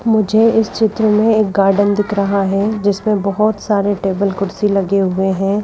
मुझे इस चित्र में एक गार्डन दिख रहा है जिसमें बहुत सारे टेबल कुर्सी लगे हुए हैं।